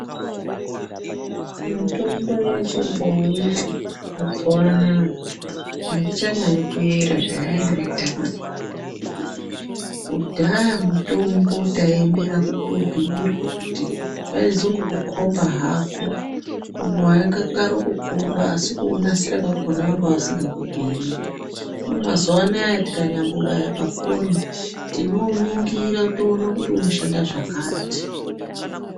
Mitombo yechibhoyi mazuvaanaya aichanyanyi kuera zvayaiita kudhaya, kudhaya mutombo taiemera kutobhuyirwa kuti vaizongokukomba hako vaingokarokukukomba asi kuunasira kwakona vanga vasingakubhuyiri hino mazuvaanaya tikanyambobaya pafoni tinouningira toona kuti unoshanda zvakati.